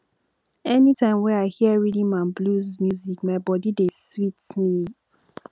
anytime wey i hear rhythm and blues music my body dey sweet me